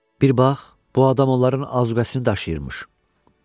Bir bax, bu adam onların azuquasını daşıyırmış.